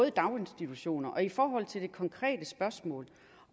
i daginstitutioner i forhold til det konkrete spørgsmål